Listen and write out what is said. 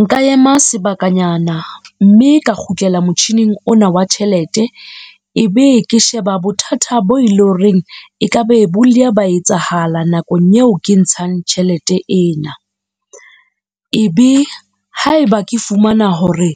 Nka ema sebakanyana, mme ka kgutlela motjhining ona wa tjhelete. Ebe ke sheba bothata bo leng horeng e kaba bo ile ba etsahala nakong eo ke ntshang tjhelete ena. Ebe haeba ke fumana hore